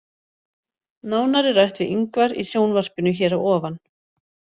Nánar er rætt við Ingvar í sjónvarpinu hér að ofan.